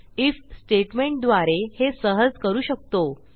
if स्टेटमेंटद्वारे हे सहज करू शकतो